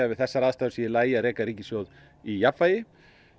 við þessar aðstæður sé í lagi að reka ríkissjóð í jafnvægi